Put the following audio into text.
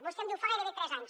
vostè em diu fa gairebé tres anys